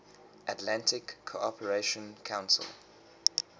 atlantic cooperation council